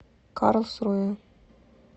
карлсруэ